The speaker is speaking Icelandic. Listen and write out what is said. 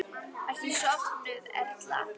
Ertu sofnuð, Erla?